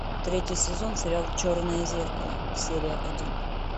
третий сезон сериал черное зеркало серия один